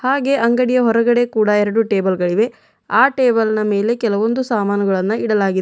ಹಾಗೆ ಅಂಗಡಿಯ ಹೊರಗಡೆ ಕೂಡ ಎರಡು ಟೇಬಲ್ ಗಳಿವೆ ಆ ಟೇಬಲ್ನ ಮೇಲೆ ಕೆಲವೊಂದು ಸಾಮಾನುಗಳನ್ನು ಇಡಲಾಗಿದೆ.